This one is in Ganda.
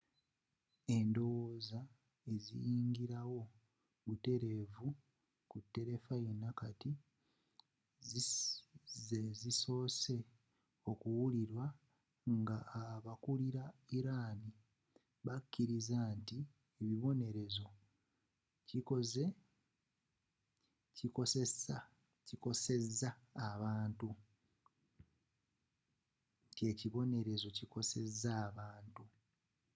endowooza eziyingira wo butereevu ku terefayina kati zeezisoose okuwulirwa ng'aba kulila iran bakiriza nti ekibonerezo kikoseza abantu